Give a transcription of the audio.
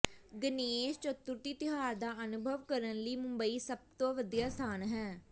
ਗਣੇਸ਼ ਚਤੁਰਥੀ ਤਿਉਹਾਰ ਦਾ ਅਨੁਭਵ ਕਰਨ ਲਈ ਮੁੰਬਈ ਸਭ ਤੋਂ ਵਧੀਆ ਸਥਾਨ ਹੈ